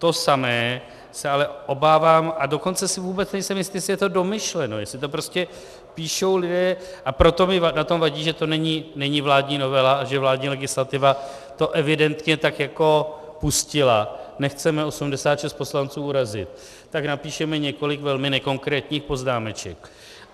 To samé se ale obávám, a dokonce si vůbec nejsem jistý, jestli je to domýšleno, jestli to prostě píšou lidé, a proto mi na tom vadí, že to není vládní novela a že vládní legislativa to evidentně tak jako pustila, nechceme 86 poslanců urazit, tak napíšeme několik velmi nekonkrétních poznámeček.